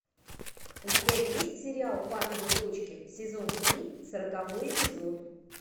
у тебя есть сериал папины дочки сезон три сороковой эпизод